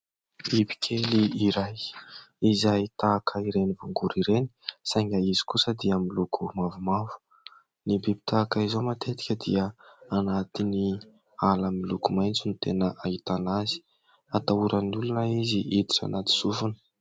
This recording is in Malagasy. Bibikely iray izay tahaka ireny voangory ireny saingy izy kosa dia miloko mavomavo. Ny biby tahaka izao matetika dia anatin'ny ala miloko maitso no tena ahitana azy. Atahoran'ny olona izy hiditra anaty sofina.